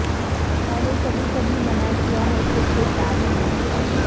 میں نے کبھی کبھی منع کیا ہے چھ چھ ساری موٹر سائیکلوں